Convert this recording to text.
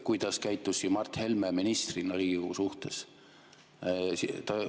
Kuidas käitus Mart Helme ministrina Riigikogu suhtes?